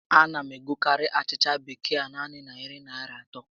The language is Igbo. A na m egokarị achịcha bekee a naanị narị Naịra atọ